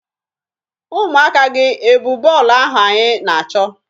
Ụmụaka gị e bu bọọlụ ahụ anyị na-achọ?